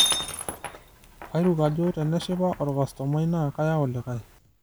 Kairuk ajo teneshipa olkastomai naa keyau likae.